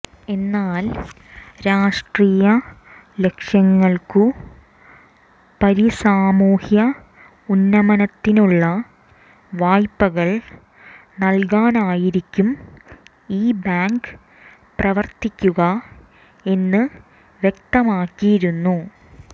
എന്നാൽ രാഷ്ട്രീയലക്ഷ്യങ്ങൾക്കുപരി സാമൂഹ്യഉന്നമനത്തിനുള്ള വായ്പകൾ നൽകാനായിരിക്കും ഈ ബാങ്ക് പ്രവർത്തിക്കുക എന്ന് വ്യക്തമാക്കിയിരുന്നു